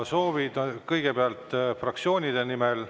Soovid palun esitada kõigepealt fraktsioonide nimel.